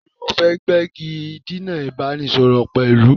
Taàní o fẹ́ gbégidinà ìbánisọọ̀rọ̀ pẹ̀lú?